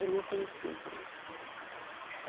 Eu não conhecia a empresa.